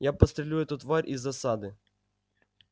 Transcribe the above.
я подстрелю эту тварь из засады